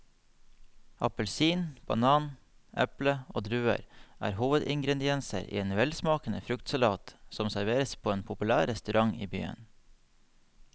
Appelsin, banan, eple og druer er hovedingredienser i en velsmakende fruktsalat som serveres på en populær restaurant i byen.